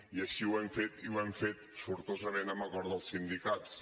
i així ho hem fet i ho hem fet sortosament amb acord dels sindicats